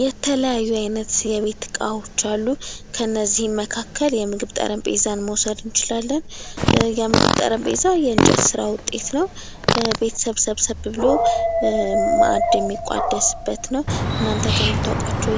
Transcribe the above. የተለያዩ አይነት የቤት ዕቃዎች አሉ ከነዚህም መካከል የምግብ ጠረጴዛን መውሰድ እንችላለን:: የምግብ ጠረጴዛ የእንጨት ሥራ ዉጤት ነው:: ቤተሰብ ሰብሰብ ብሎ ማዕድ የሚቋደስበት ነው:: እናንተ ከምታውቋቸው